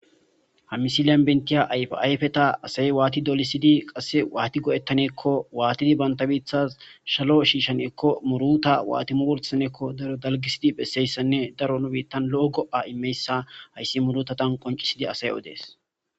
hamisiliyan bentiya ayfayfeta asay waati dolisidi qasse waati go7ettaneekko waatidi bantabiithas shalo shiishan ekko muruta waatimu wolsaneekko daro dalgisidi bhesseyssanne daro nu biittan lo7o go7a imeyssa hayssi murutatan qoncisidi asay odees